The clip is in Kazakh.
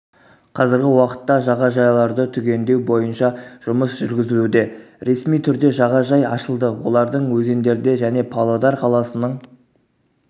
қазіргі уақытта жағажайларды түгендеу бойынша жұмыс жүргізілуде ресми түрде жағажай ашылды олардың өзендерде және павлодар қаласының